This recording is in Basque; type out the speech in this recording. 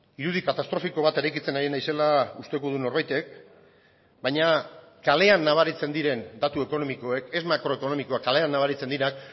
irudi katastrofiko bat eraikitzen ari naizela usteko du norbaitek baina kalean nabaritzen diren datu ekonomikoek ez makroekonomikoak kalean nabaritzen dira